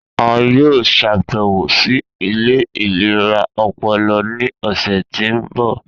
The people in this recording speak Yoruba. A yoo ṣabẹwo si ile ilera ọpọlọ ni ọsẹ ti n bọ.